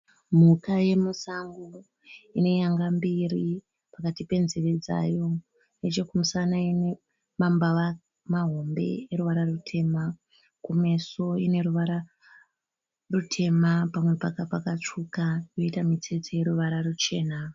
Mhuka yemusango ine nyanga mbiri pakati penzveve dzayo. Nechekumusana ine mambava mahombe eruvara rutema. Kumeso ine ruvara rutema pamwe pakatsvuka yoita mitsetse yoruvara ruchena.